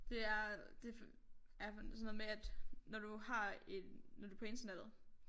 Det er det er sådan noget med at når du har når du på internettet